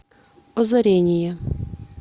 озарение